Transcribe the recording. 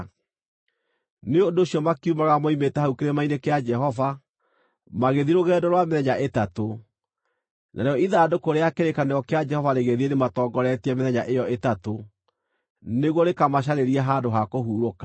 Nĩ ũndũ ũcio makiumagara moimĩte hau kĩrĩma-inĩ kĩa Jehova, magĩthiĩ rũgendo rwa mĩthenya ĩtatũ. Narĩo ithandũkũ rĩa kĩrĩkanĩro kĩa Jehova rĩgĩthiĩ rĩmatongoretie mĩthenya ĩyo ĩtatũ, nĩguo rĩkamacarĩrie handũ ha kũhurũka.